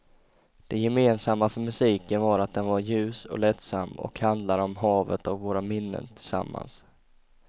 Det gemensamma för musiken var att den var ljus och lättsam och handlade om havet och våra minnen tillsammans.